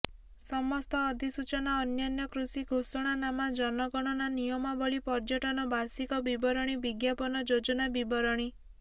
ସମସ୍ତ ଅଧିସୂଚନା ଅନ୍ୟାନ୍ୟ କୃଷି ଘୋଷଣାନାମା ଜନଗଣନା ନିୟମାବଳୀ ପର୍ଯ୍ୟଟନ ବାର୍ଷିକ ବିବରଣୀ ବିଜ୍ଞାପନ ଯୋଜନା ବିବରଣୀ